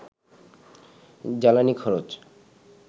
জ্বালানি খরচ